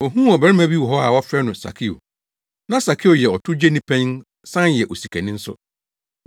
ohuu ɔbarima bi wɔ hɔ a wɔfrɛ no Sakeo. Na Sakeo yɛ ɔtowgyeni panyin san yɛ osikani nso.